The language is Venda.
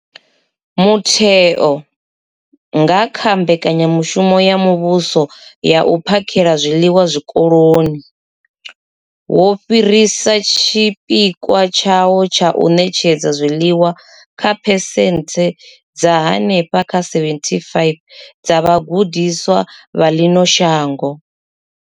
Mutheo, nga kha mbekanyamushumo ya muvhuso ya u phakhela zwiḽiwa zwikoloni, wo fhirisa tshipikwa tshawo tsha u ṋetshedza zwiḽiwa kha phesenthe dza henefha kha 75 dza vhagudiswa vha ḽino shango.